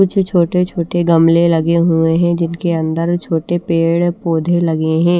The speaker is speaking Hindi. कुछ छोटे छोटे गमले लगे हुए हैं जिनके अंदर छोटे पेड़ पौधे लगे हैं।